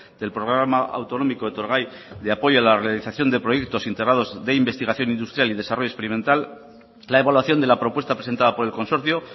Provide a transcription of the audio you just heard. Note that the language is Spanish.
del programa autonómico etorgai de apoyo a la realización de proyectos integrados de investigación industrial y desarrollo experimental la evaluación de la propuesta presentada por el consorcio